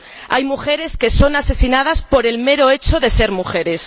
Hay mujeres que son asesinadas por el mero hecho de ser mujeres.